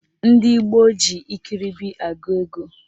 Ndị gboo ji ikiribi agụ ego